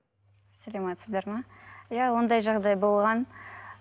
саламатсыздар ма иә ондай жағдай болған